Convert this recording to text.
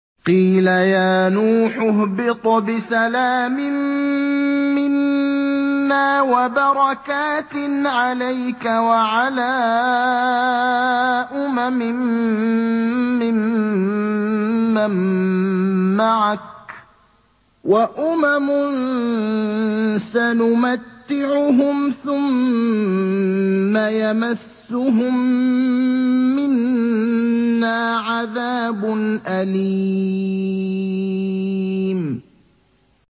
قِيلَ يَا نُوحُ اهْبِطْ بِسَلَامٍ مِّنَّا وَبَرَكَاتٍ عَلَيْكَ وَعَلَىٰ أُمَمٍ مِّمَّن مَّعَكَ ۚ وَأُمَمٌ سَنُمَتِّعُهُمْ ثُمَّ يَمَسُّهُم مِّنَّا عَذَابٌ أَلِيمٌ